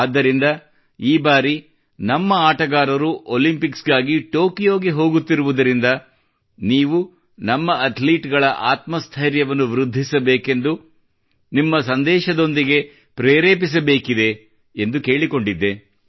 ಆದ್ದರಿಂದ ಈ ಬಾರಿ ನಮ್ಮ ಆಟಗಾರರು ಒಲಿಂಪಿಕ್ಸ್ ಗಾಗಿ ಟೊಕಿಯೋ ತೆರಳುತ್ತಿರುವುದರಿಂದ ನೀವು ನಮ್ಮ ಅಥ್ಲೀಟ್ ಗಳ ಆತ್ಮಸ್ಥೈರ್ಯವನ್ನು ವೃದ್ಧಿಸಬೇಕೆಂದು ನಿಮ್ಮ ಸಂದೇಶದೊಂದಿಗೆ ಪ್ರೆರೇಪಿಸಬೇಕಿದೆ ಎಂದು ಕೇಳಿಕೊಂಡಿದ್ದೆ